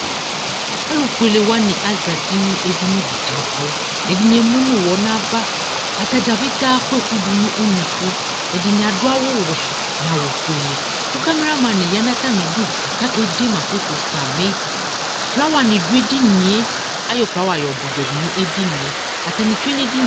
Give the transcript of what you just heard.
Alʋfuele wanɩ azati nʋ edini dɩ kʋ abʋ Ɛdɩnɩ emu nʋ ʋɣɔ nʋ ava Ata dza petee akɔ ɛkʋ dʋ nʋ unuku Ɛdɩnɩ adʋ awʋwɛ nʋ awʋfuele kʋ kameraman ya nʋ atamɩdu kʋ ɔkede ma foto samɩ Flawanɩ dʋ edini yɛ Ayɔ flawa yɔdʋ ʋbʋɛ dʋ nʋ edini yɛ Atanɩ tsue nʋ edini yɛ